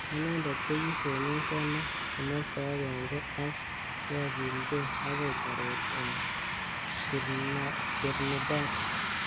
Anendet kokisomeshano kimosta agenge ak kyakilgei akoi taret eng Trinidad.